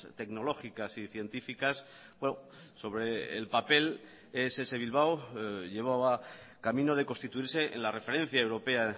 tecnológicas y científicas sobre el papel ess bilbao llevaba camino de constituirse en la referencia europea